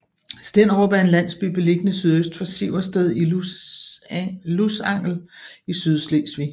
Stenderup er en landsby beliggende sydøst for Siversted i Lusangel i Sydslesvig